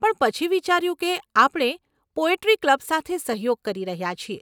પણ પછી વિચાર્યું, કે આપણે પોએટ્રી ક્લબ સાથે સહયોગ કરી રહ્યાં છીએ.